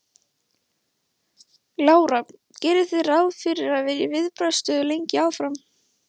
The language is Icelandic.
Lára: Gerið þið ráð fyrir að vera í viðbragðsstöðu lengi áfram?